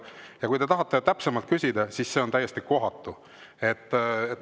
Ja kui te tahate täpsemalt küsida, siis see on täiesti kohatu.